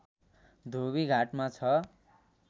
धोबीघाटमा छ